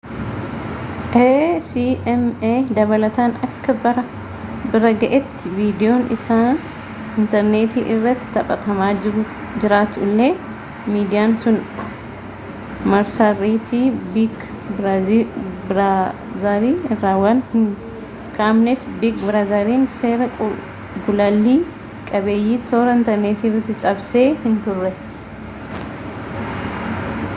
acma dabalataan akka bira ga’etti viidiyoon isaa intarneetii irratti taphatamaa jiraatu illee miidiyaan sun marsariitii biig biraazarii irra waan hin kaa’amneef biig biraazariin seera gulaallii qabiyyee toora inatrneetiirraa cabsee hinturre